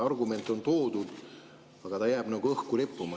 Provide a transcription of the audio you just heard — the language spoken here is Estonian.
Argument on toodud, aga ta jääb nagu õhku rippuma.